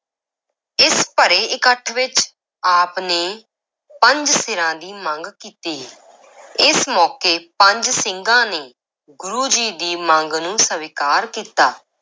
ਇਸ ਭਰੇ ਇਕੱਠ ਵਿੱਚ ਆਪ ਨੇ ਪੰਜ ਸਿਰਾਂ ਦੀ ਮੰਗ ਕੀਤੀ ਇਸ ਮੌਕੇ ਪੰਜ ਸਿੰਘਾਂ ਨੇ ਗੁਰੂ ਜੀ ਦੀ ਮੰਗ ਨੂੰ ਸਵੀਕਾਰ ਕੀਤਾ।